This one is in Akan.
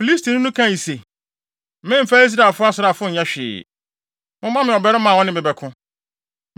Filistini no kae se, “Memmfa Israel asraafo nyɛ hwee, momma me ɔbarima a ɔne me bɛko.”